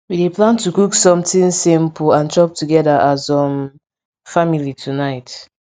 we dey plan to cook something simple and chop togeda as um family tonight